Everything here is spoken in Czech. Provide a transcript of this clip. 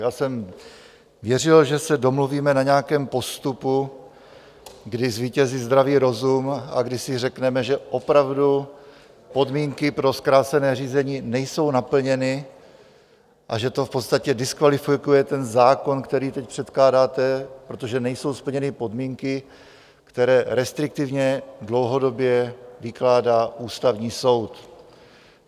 Já jsem věřil, že se domluvíme na nějakém postupu, kdy zvítězí zdravý rozum a kdy si řekneme, že opravdu podmínky pro zkrácené řízení nejsou naplněny a že to v podstatě diskvalifikuje ten zákon, který teď předkládáte, protože nejsou splněny podmínky, které restriktivně dlouhodobě vykládá Ústavní soud.